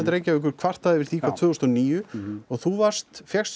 Reykjavíkur kvartaði yfir því hvað tvö þúsund og níu og þú varst fékkst